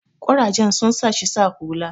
kurajen sun sa shi sa hula